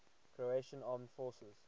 croatian armed forces